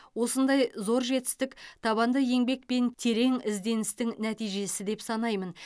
осындай зор жетістік табанды еңбек пен терең ізденістің нәтижесі деп санаймын